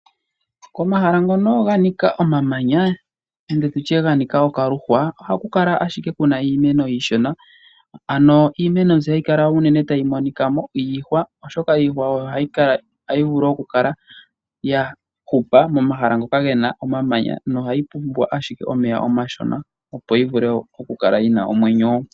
Omahala ngono ga ninka omamanya nenge ga nika okaluhwa ohaku kala ahike ku na iimeno iishona, ano iimeno mbyono hayi kala unene tayi monika mo iihwa, oshoka iihwa oyo hayi vulu okukala ya hupa momahala ngoka ge na omamanya nohayi pumbwa ashike omeya omashona, opo yi vule okukala yi na omwenyo.